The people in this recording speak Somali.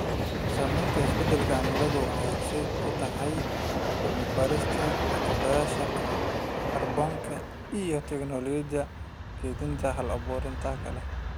Saamaynta isbeddelka cimiladu waxay horseed u tahay cilmi-baarista qabsashada kaarboonka iyo tignoolajiyada kaydinta hal-abuurka leh.